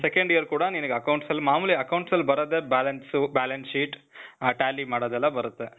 second year ಕೂಡಾ ನಿನಿಗೆ accounts ಅಲ್ಲಿ ಮಾಮುಲಿ accounts ಅಲ್ ಬರೋದೆ balance, balance sheet, ಆ tally ಮಾಡೋದೆಲ್ಲ ಬರುತ್ತೆ.